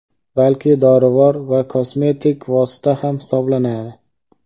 balki dorivor va kosmetik vosita ham hisoblanadi.